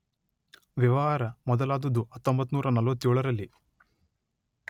ವ್ಯವಹಾರ ಮೊದಲಾದದ್ದು ಹತ್ತೊಂಬತ್ತು ನೂರ ನಲ್ವತ್ತೇಳರಲ್ಲಿ